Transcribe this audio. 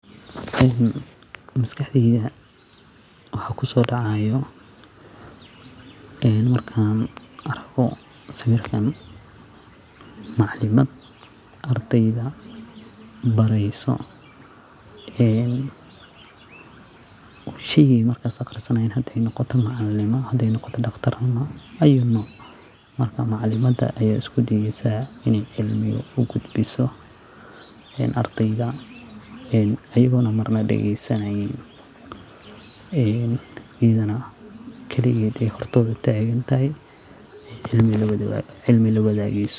Maskaxdeyda waxa kusodacaya markan arko sawirkan macalimaad ardeyda bareyso shegyi ey markas baranayaan hadey ahato macalinimo hadey noqoto daqtarnimo ayu nooc. Marka macalimada aya iskudaeyso in ey ugudbiso ardeyga iyago marba dageysaneynin iyadana kaligod hor tagan tahay oo cilmi lwadgeyso.